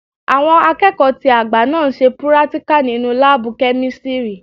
Àwọn akẹ́kọ̀ọ́ tó àgbà náà n ṣe púrátíkà nínu láàbù-kẹ́mísírì